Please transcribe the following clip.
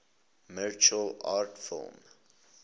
martial arts film